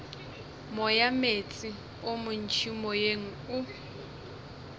moyameetse o montši moyeng o